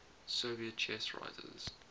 soviet chess writers